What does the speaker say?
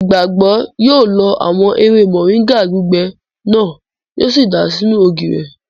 Ìgbàgbọ́ yóò lọ àwọn ewé mọ̀ríńgà gbígbẹ náà, yíò sì dàá sínú ògì rẹ̀